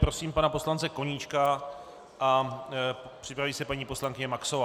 Prosím pana poslance Koníčka a připraví se paní poslankyně Maxová.